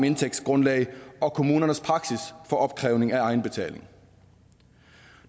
indtægtsgrundlag og kommunernes praksis for opkrævning af egenbetaling